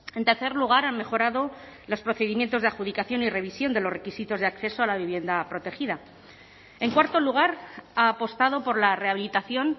en tercer lugar han mejorado los procedimientos de adjudicación y revisión de los requisitos de acceso a la vivienda protegida en cuarto lugar ha apostado por la rehabilitación